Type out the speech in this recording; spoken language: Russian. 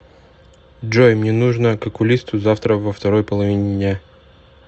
джой мне нужно к окулисту завтра во второй половине дня